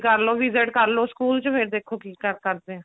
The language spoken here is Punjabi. ਕਰਲੋ visit ਕਰਲੋ ਸਕੂਲ ਚ ਫੇਰ ਦੇਖੋ ਕੀ ਕਰਦੇ ਆ